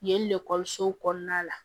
Yen ekɔlisow kɔnɔna la